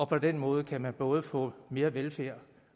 på den måde kan man både få mere velfærd